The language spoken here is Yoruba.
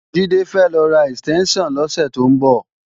Jídé fẹ́ lọ ra ẹ̀stẹ́ńṣàn lọ́sẹ̀ tó ń bọ̀